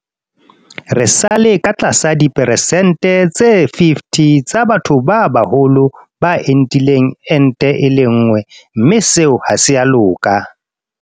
Re sa le ka tlasa diperesente tse 50 tsa batho ba baholo ba entileng ente e le nngwe mme seo ha se a loka.